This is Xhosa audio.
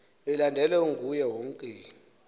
ilandelwe nguye wonke